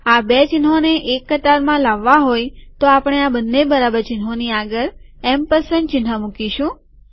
આ બે ચિહ્નોને એક કતારમાં લાવવા હોય તો આપણે આ બંને બરાબર ચિહ્નોની આગળ એમપરસંડ ચિહ્ન મુકીશું